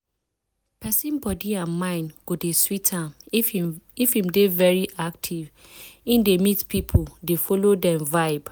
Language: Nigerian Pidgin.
persin body and mind go dey sweet am if hin dey very active hin dey meet people dey follow dem vibe.